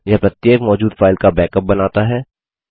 यह प्रत्येक मौजूद फाइल का बैकअप बनाता है